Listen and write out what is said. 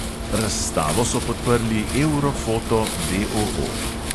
Razstavo so podprli euro foto D O O.